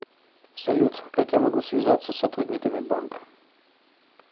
салют как я могу связаться с сотрудниками банка